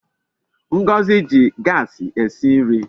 Ngozi ji Gasi esi nri